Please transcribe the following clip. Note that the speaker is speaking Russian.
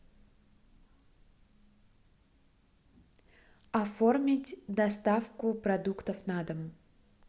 оформить доставку продуктов на дом